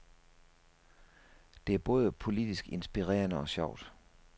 Det er både politisk inspirerende og sjovt.